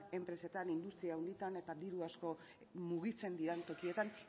enpresetan industria handitan eta diru asko mugitzen diren tokietan